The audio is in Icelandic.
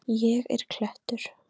Ég er klettur.